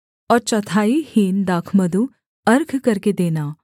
और चौथाई हीन दाखमधु अर्घ करके देना